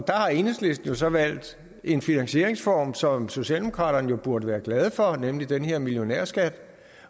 har enhedslisten så valgt en finansieringsform som socialdemokraterne jo burde være glade for nemlig den her millionærskat